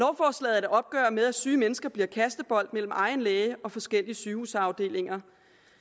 er et opgør med at syge mennesker bliver kastebold mellem egen læge og forskellige sygehusafdelinger